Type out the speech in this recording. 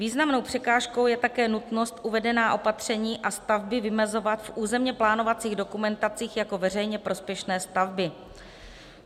Významnou překážkou je také nutnost uvedená opatření a stavby vymezovat v územně plánovacích dokumentacích jako veřejně prospěšné stavby.